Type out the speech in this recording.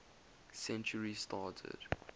century started